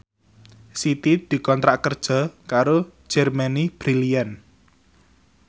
Siti dikontrak kerja karo Germany Brilliant